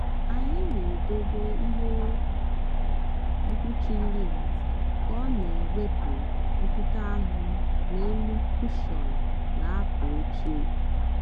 anyị na-edobe ihe mkpuchi lint ka ọ na-ewepụ ntutu anụ n’elu kụshọn na akwa oche.